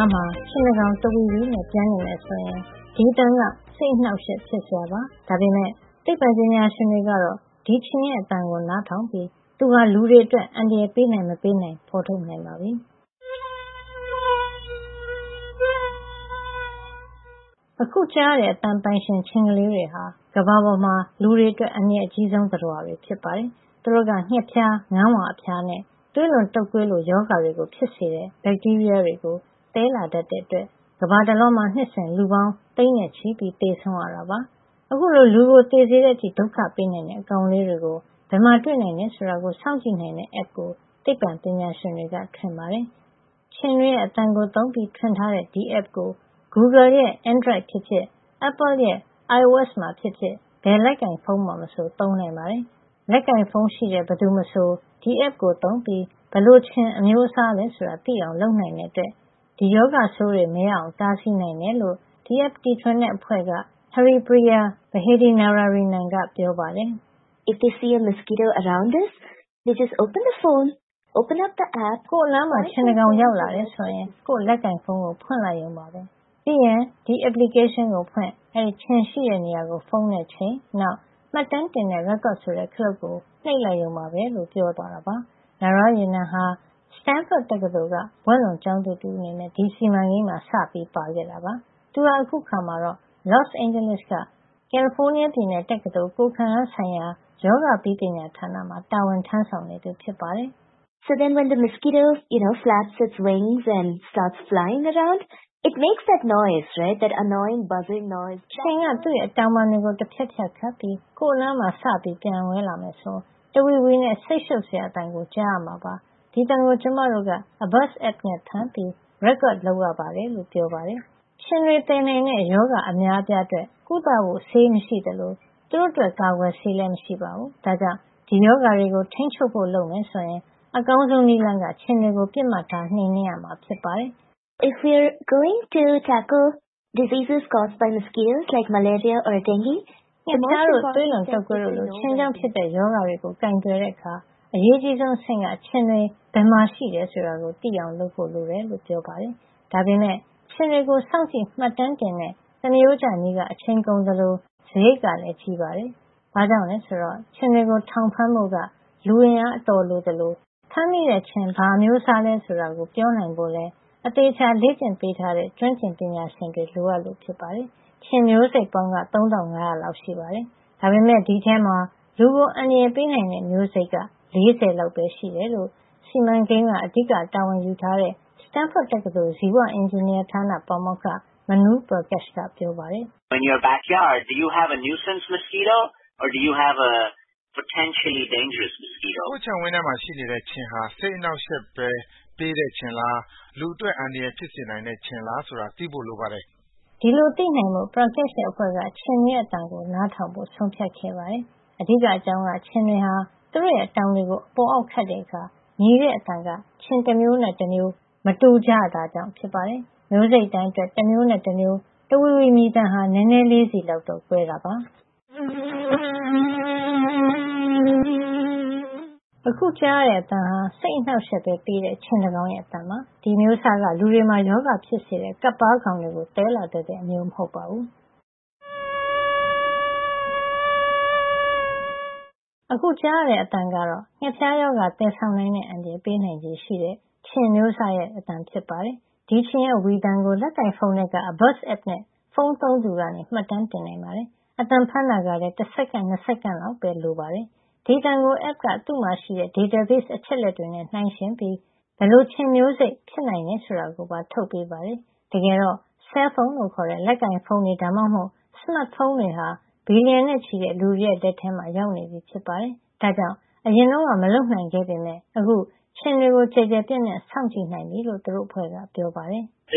ားမှာ ခြင်တကောင် တဝီဝီနဲ့ ပျံနေမယ်ဆိုရင် ဒီအသံက စိတ်အနှောက်အယှက် ဖြစ်စရာပါ။ ဒါပေမယ့် သိပ္ပံပညာရှင်တွေကတော့ ဒီခြင်ရဲ့ အသံကို နားထောင်ပြီး သူဟာ လူတွေအတွက် အန္တရာယ် ပေးနိုင် မပေးနိုင်ဆိုတာကို ဖေါ်ထုတ်နိုင်ပါပြီ။ အခု ကြားရတဲ့ အသံပိုင်ရှင် ခြင်ကလေးတွေဟာ ကမ္ဘာပေါ်မှာ လူတွေအတွက် အန္တရာယ် အကြီးဆုံး သတ္တဝါဖြစ်ပါတယ်။ သူတို့က ငှက်ဖျား၊ ငန်းဝါ အဖျားနဲ့ သွေးလွန်တုပ်ကွေးလို ရောဂါတွေကို ဖြစ်စေတဲ့ ဘက်တီးရီးယား တွေကို သယ်လာတတ်တဲ့ အတွက် ကမ္ဘာတလွှားမှာ နှစ်စဉ် လူပေါင်း သိန်းနဲ့ချီ သေဆုံးရတာပါ။ အခုလို လူကို သေစေတဲ့အထိ ဒုက္ခပေးနိုင်တဲ့ အကောင်လေးတွေကို ဘယ်မှာ တွေ့နိုင်တယ် ဆိုတာကို စောင့်ကြည့်နိုင်တဲ့ app ကို သိပ္ပံပညာရှင်တွေက ထွင်ပါတယ်။. ခြင်တွေရဲ့ အသံကို သုံးပြီးထွင်ထားတဲ့ ဒီ app ကို Google ရဲ့ Android ဖြစ်ဖြစ် Apple ရဲ့ iOS ဖြစ်ဖြစ် ဘယ်လက်ကိုင်ဖုံးမှာ မဆို သုံးနိုင်ပါတယ်။ လက်ကိုင်ဖုံးရှိတဲ့ ဘယ်သူမဆို ဒီ app ကို သုံးပြီး ဘယ်လို ခြင်အမျိုးအစားလဲ ဆိုတာ သိအောင် လုပ်နိုင်တဲ့အတွက် ဒီရောဂါဆိုးတွေ မရအောင် တားဆီးနိုင်တယ်လို့ ဒီ app တီထွင်တဲ့ အဖွဲ့က - Haripriya Vaidehi Narayanan က ပြောပါတယ်။ “ကိုယ့် အနားမှာ ခြင်တကောင် ရောက်လာတယ်ဆိုရင် ကိုယ့် လက်ကိုင်ဖုံးကို ဖွင့်လိုက်ရုံပဲ။ ပြီးရင် ဒီ application ကို ဖွင့် - အဲဒီခြင် ရှိတဲ့ နေရာကို ဖုံးနဲ့ ချိန်လိုက်။ နောက် မှတ်တမ်းတင်တဲ့ record ဆိုတဲ့ ခလုပ်ကို နှိပ်လိုက်ရုံပါပဲ” Narayanan ဟာ Stanford တက္ကသိုလ်က ဘွဲ့လွန်ကျောင်းသူတဦး အနေနဲ့ ဒီစီမံကိန်းမှာ စပြီး ပါဝင်ခဲ့တာပါ။ သူဟာ အခုအခါမှာတော့ Los Angeles က ကယ်လီဖိုးနီးယားပြည်နယ် တက္ကသိုလ် - ကိုယ်ခံအားဆိုင်ရာ - ရောဂါပြီး ပညာဌာနမှာ တာဝန်ထမ်းဆောင်နေသူ ဖြစ်ပါတယ်။ “ခြင်က သူ့အတောင်ပံတွေကို တဖျပ်ဖျပ်ခတ် ပြီး ကိုယ့်နားမှာ စပြီး ပျံဝဲလာမယ် ဆိုရင် တဝီဝီနဲ့ စိတ်ရှုပ်စရာအသံကို ကြားရမှာပါ။ ဒီအသံကို ကျမတို့က Abuzz app နဲ့ အသံဖမ်းပြီး record လုပ်ရပါတယ်” ခြင်တွေ သယ်နိုင်တဲ့ရောဂါ အများအပြား အတွက် ကုသဖို့ ဆေးမရှိသလို သူတို့အတွက် ကာကွယ်ဆေးလည်း မရှိပါဘူး။ ဒါကြောင့် ဒီရောဂါတွေ ကို ထိန်းချုပ်ဖို့ လုပ်မယ် ဆိုရင် အကောင်းဆုံးနည်းလမ်းက ခြင်တွေကိုပဲ ပစ်မှတ်ထားနှိမ်နင်းရမှာ ဖြစ်ပါတယ်။ “ငှက်ဖျားတို့ သွေးလွန်တုပ်ကွေးတို့လို ခြင်ကြောင့် ဖြစ်တဲ့ ရောဂါတွေကို ကိုင်တွယ်တဲ့အခါ အရေးအကြီးဆုံး အဆင့်က ခြင်တွေ ဘယ်မှာရှိနေတယ် ဆိုတာကို သိဖို့ လိုတယ်။” ဒါပေမယ့် ခြင်တွေကိုစောင့်ကြည့်မှတ်တမ်းတင်တဲ့ သမရိုးကျ နည်းက အချိန်ကုန်သလို စားရိတ်ကလည်း ကြီးမားပါတယ်။ ဘာကြောင့်လည်းဆိုတော့ ခြင်တွေကို ထောင်ဖမ်းဖို့က လူအင်အား အတော်လိုသလို ဖမ်းမိတဲ့ခြင်ဟာ ဘာအမျိုးစားလည်း ဆိုတာကို ပြောနိုင်ဖို့လည်း အသေအချာလေ့ကျင့်ပေးထားတဲ့ ကျွမ်းကျင်ပညာရှင်တွေလည်း လိုအပ်လို့ပါ။ ခြင်မျိုးစိတ်ပေါင်းက ၃၅၀၀ လောက်ရှိပါတယ်။ ဒါပေမယ့် ဒီအထဲမှာ လူကိုအန္တရာယ်ပေးနိုင်တဲ့ မျိုးစိတ်က ၄၀ လောက်ပဲ ရှိတယ်လို့ ဒီစီမံကိန်းမှာ စုံစမ်းရေးအတွက် အဓိကတာဝန်ယူထားတဲ့ Stanford တက္ကသိုလ် ဇီဝအင်ဂျင်နီယာ ဌာနက ပါမောက္ခ Manu Prakash က ပြောပါတယ်။ “ကိုယ့် အိမ်ခြံဝင်းထဲမှာ ရှိနေတဲ့ ခြင်ဟာ စိတ်အနှောက်ယှက်ပဲ ပေးတဲ့ခြင်လား လူအတွက် အန္တရာယ် ဖြစ်စေနိုင်တဲ ခြင်လား ဆိုတာ သိဖို့ လိုပါတယ်။ ” ဒီလို သိနိုင်ဖို့ Prakash ရဲ့ အဖွဲ့က ခြင်တွေရဲ့ အသံကို နားထောင်ဖို့ ဆုံးဖြတ်ခဲ့ပါတယ်။ အဓိကအကြောင်းက ခြင်တွေဟာ သူတို့ရဲ့ အတောင်တွေကို အပေါ်အောက် ခတ်ခဲ့အခါ မြည်တဲ့ အသံက ခြင်မျိုး တမျိုးနဲ့ တမျိုး မတူကြတာကြောင့် ဖြစ်ပါတယ်။ မျိုးစိတ်တိုင်းအတွက် တမျိုးနဲ့ တမျိုး တဝီဝီမြည်သံဟာ နဲနဲလေးစီ လောက်တော့ ကွဲကြပါတယ်။ အခု ကြားရတဲ့ အသံဟာ စိတ်အနှောက်အယှက်ပဲ ပေးတဲ့ ခြင်တကောင်ရဲ့ အသံပါ။ ဒီအမျိုးအစားက လူတွေမှာ ရောဂါဖြစ်စေတဲ့ ကပ်ပါးကောင်တွေကို သယ်လာ တတ်တဲ့ အမျိုးစား မဟုတ်ပါဘူး။ အခု ကြားရတဲ အသံကတော့ ငှက်ဖျားရောဂါ သယ်ဆောင်နိုင်တဲ့ အန္တရာယ် ပေးနိုင်ခြေရှိတဲ့ ခြင်အမျိုးအစား ရဲ့ တဝီဝီ မြည်သံ ဖြစ်ပါတယ်။ ဒီခြင်ရဲ့ ဝီသံကို လက်ကိုင်ဖုံးထဲက Abuzz app နဲ့ ဖုံးသုံးသူက မှတ်တမ်းတင်နိုင်ပါတယ်။ အသံဖမ်းတာကလည်း တစက္ကန့် - ၂ စက္ကန့်လောက်ပဲ လိုပါတယ်။ အဲဒီအသံကို application က သူ့မှာ ရှိတဲ့ database အချက်အလက်တွေနဲ့ နှိုင်းယှဉ်ပြီး ဘယ်လို ခြင်မျိုးစိတ်မျိုး ဖြစ်နိုင်တယ် ဆိုတာကို ထုတ်ပေးပါတယ်။ တကယ်တော့ ဆဲလ်ဖုံး လို့ခေါ်တဲ့ လက်ကိုင်ဖုံးတွေ ဒါမှမဟုတ် စမတ်ဖုံးတွေဟာ ဘီလီယံနဲ့ ချီတဲ့ လူတွေရဲ့ လက်ထဲမှာ ရောက်နေပြီ ဖြစ်ပါတယ်။ ဒါကြောင့် အရင်တုန်းက မလုပ်နိုင်ခဲ့ပေမယ့် အခု ခြင်တွေကို ကျယ်ကျယ်ပြန့်ပြန့် စောင့်ကြည့် နိုင်ပြီလို့ သူတို့ အဖွဲ့က ပြောပါတယ်။ “ဒ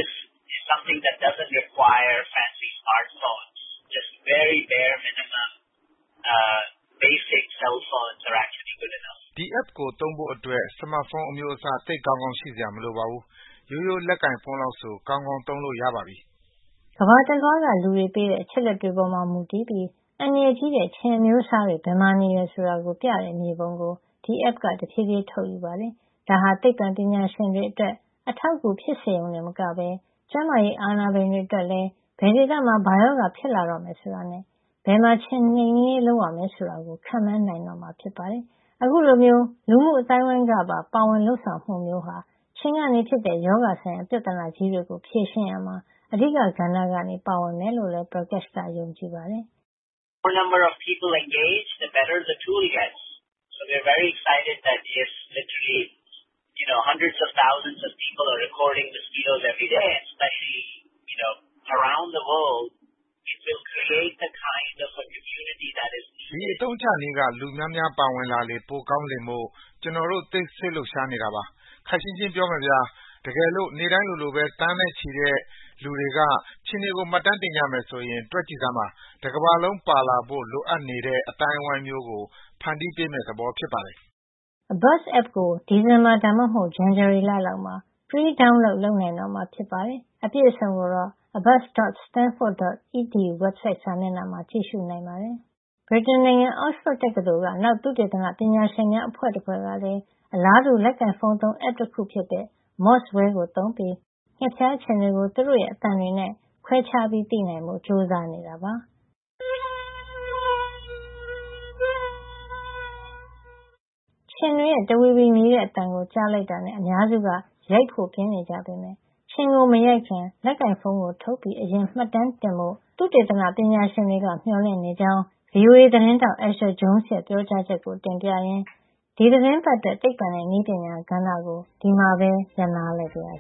ီ App ကို သုံးဖို့အတွက် စမတ်ဖုံး အမျိးအစား သိပ်ကောင်းကောင်း ရှိစရာမလိုပါဘူး။ ရိုးရိုး လက်ကိုင်ဖုံး လောက်ဆို ကောင်းကောင်း သုံးလို့ ရပါပြီ။ ” ကမ္ဘာတလွှားက လူတွေ ပေးတဲ့ အချက်အလက်တွေပေါ်မူတည်ပြီး အန္တရာယ်ကြီးတဲ့ ခြင်အမျိုးအစား တွေ ဘယ်မှာ နေတယ် ဆိုတာကို ပြတဲ့ မြေပုံတွေကို ဒီ application က တဖြေးဖြေးထုတ်ယူပါတယ်။ ဒါဟာ သိပ္ပံပညာရှင်တွေ အတွက် အထောက်အကူ ဖြစ်စေရုံတင် မကပဲ ကျန်းမာရေးအာဏာပိုင်တွေ အတွက်လည်း ဘယ်ဒေသမှာ ဘာရောဂါ ဖြစ်လာတော့မယ် ဆိုတာနဲ့ ဘယ်နေရာမှာတော့ ခြင်နှိမ်နင်းရေး လုပ်ရမယ် ဆိုတာတွေကို ခန့်မှန်းတွက်ဆ နိုင်မှာ ဖြစ်ပါတယ်။ အခုလိုမျိုး လူမှုအသိုင်းအဝိုင်းကပါ ပါဝင် လုပ်ဆောင်မှုမျိုးဟာ ခြင်ကနေ ဖြစ်တဲ့ ရောဂါဆိုင်ရာ ပြဿနာကြီးတွေကို ဖြေရှင်းရာမှာ အဓိက ကဏ္ဍကနေ ပါဝင်မယ်လို့လည်း Prakash က ယုံကြည်ပါတယ်။ “ဒီအသုံးချနည်းက လူများများ ပါဝင်လာလေ ပိုကောင်းလေမို့ ကျနော်တို့ သိပ်စိတ်လှုပ်ရှားနေတာပါ။ ခပ်ရှင်းရှင်း ပြောမယ်ဗျာ။ တကယ်လို့ နေ့တိုင်းလိုလိုပဲ သိန်းနဲ့ ချီတဲ့ လူတွေက ခြင်တွေကို မှတ်တမ်းတင်ကြမယ် ဆိုရင် တွက်ကြည့်စမ်းပါ။ တကမ္ဘာလုံးပါလာဖို့ လိုအပ်နေတဲ့ အသိုင်းဝိုင်းမျိုးကို ဖန်တီးပေးမယ့် သဘောဖြစ်ပါတယ်။” Abuzz app ကို ဒီဇင်ဘာ ဒါမှမဟုတ် ဇန်နဝါရီ လောက်မှာfree download လုပ်နိုင်တော့မှာ ဖြစ်ပါတယ်။ အပြည့်အစုံကို abuzz.stanford.edu. ဝက်ဘ်ဆိုဒ် စာမျက်နှာမှာ သွားရောက် ကြည့်ရှုနိုင်ပါတယ်။ ဗြိတိန်နိုင်ငံ Oxford တက္ကသိုလ်က နောက် သုတေသနပညာရှင်များ အဖွဲ့တဖွဲ့ကလည်း အလားတူ ပဲ လက်ကိုင်ဖုံး သုံး app တခု ဖြစ်တဲ့ Mozzwear ကို သုံးပြီး ငှက်ဖျား ခြင်တွေကို သူတို့ရဲ့ အသံတွေနဲ့ ခွဲခြားသိဖို့ ကြိုးစားနေတာပါ။ ခြင်တွေရဲ့ တဝီဝီမြည်တဲ့ အသံကြားလိုက်တာနဲ့ အများစုက ရိုက်ဖို့ ပြင်နေကြပေမယ့် ခြင်ကို မရိုက်ခင် လက်ကိုင်ဖုံးကို ထုတ်ပြီး အရင် မှတ်တမ်းတင်ကြဖို့ သုတေသန ပညာရှင်တွေကမေ ျှာ်လင့် နေကြကြောင်း VOA သတင်းထောက် Asher Jones ရဲ့ ပြောကြားချက်ကို တင်ပြရင်း ဒီသီတင်းပတ်အတွက် သိပ္ပံနဲ့ နည်းပညာကဏ္ဍကို ဒီမှာပဲ ရပ်နားလိုက်ပါရစ